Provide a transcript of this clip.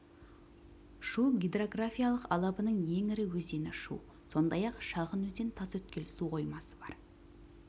шу гидрографиялық алабының ең ірі өзені шу сондай-ақ шағын өзен тасөткел су қоймасы бар